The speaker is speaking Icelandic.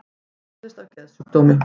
Hann þjáist af geðsjúkdómi